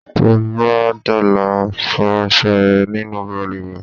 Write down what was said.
T'óbá d'ọ̀la, fọ aṣọ ẹ nínú balùwẹ̀!